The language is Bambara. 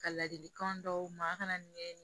Ka ladilikan d'u ma a kana ɲɛɲini